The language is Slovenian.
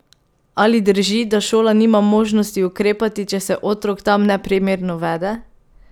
Ali drži, da šola nima možnosti ukrepati, če se otrok tam neprimerno vede?